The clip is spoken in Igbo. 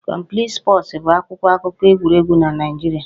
Complete Sports' bụ akwụkwọ akụkọ egwuregwu na Naịjirịa